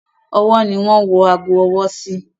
Ọwọ́ ni wọ́n ń wọ ago ọwọ́ sí.